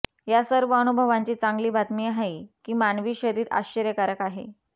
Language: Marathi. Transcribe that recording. या सर्व अनुभवांची चांगली बातमी आहे की मानवी शरीर आश्चर्यकारक आहे